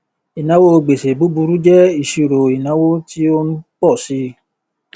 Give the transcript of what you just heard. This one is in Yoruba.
ìnáwó gbèsè búburú jẹ ìṣirò ìnáwó tí ó ń pọ sí i